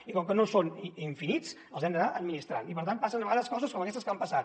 i com que no són infinits els hem d’anar administrant i per tant passen a vegades coses com aquestes que han passat